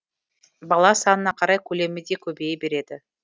бала санына қарай көлемі де көбейе береді